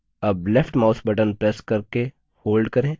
अब left mouse button press करके hold करें